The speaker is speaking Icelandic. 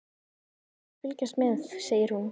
Við skulum öll fylgjast með, segir hún.